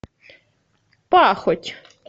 пахоть